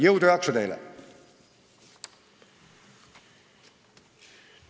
Jõudu ja jaksu teile!